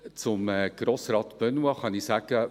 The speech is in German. Zu Grossrat Benoit kann ich sagen: